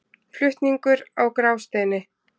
Flutningur á Grásteini.